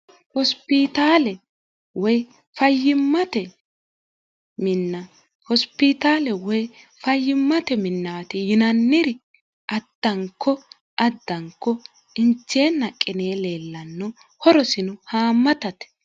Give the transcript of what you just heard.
hosipitaale woy fayyimmate minnaati yinanniri addanko addanko inceenna qinee leellanno horosino haammatate